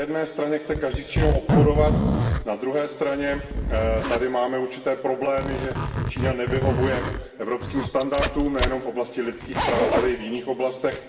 Na jedné straně chce každý s Čínou obchodovat, na druhé straně tady máme určité problémy, že Čína nevyhovuje evropským standardům nejenom v oblasti lidských práv, ale i v jiných oblastech.